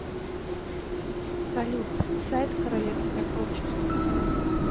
салют сайт королевское общество